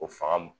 O fanga